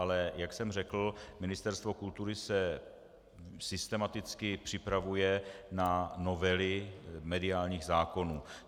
Ale jak jsem řekl, Ministerstvo kultury se systematicky připravuje na novely mediálních zákonů.